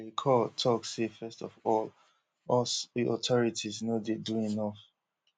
le cour tok say first of all us authorities no dey do enof